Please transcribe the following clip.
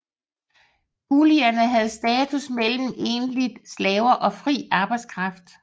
Kulierne havde status mellem egentlige slaver og fri arbejdskraft